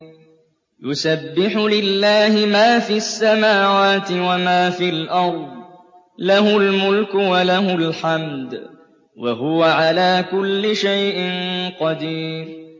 يُسَبِّحُ لِلَّهِ مَا فِي السَّمَاوَاتِ وَمَا فِي الْأَرْضِ ۖ لَهُ الْمُلْكُ وَلَهُ الْحَمْدُ ۖ وَهُوَ عَلَىٰ كُلِّ شَيْءٍ قَدِيرٌ